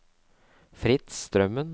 Fritz Strømmen